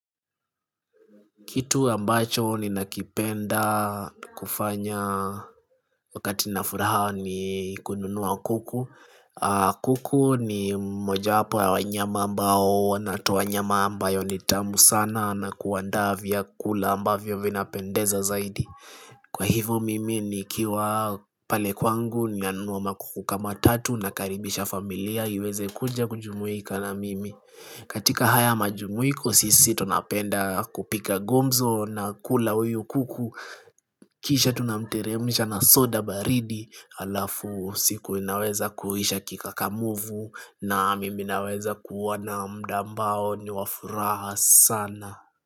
Kitu ambacho ninachokipenda kufanya wakati nina furaha ni kununua kuku kuku ni moja wepo wa wanyama ambao nwanatoa nyama ambayo ni tamu sana kwa kuandaa vyakula ambayo vinapendeza zaidi Kwa hivo mimi nikiwa pale kwangu nanunua kuku kama tatu kisha nakaribisha familia.iweze kuja kujumuika na mimi katika haya majumuiko sisi tunapenda kupiga gumzo na kula huyu kuku Kisha tunamteremsha na soda baridi Alafu siku inaweza kuisha kika kamuvu na mimi naweza kuwa na muda ambao ni wa furaha sana.